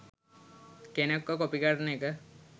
කෙනෙක්ව කොපි කරන එක